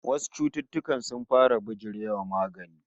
Wasu cututtukan sun fara bijire wa magani